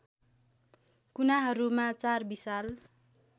कुनाहरूमा चार विशाल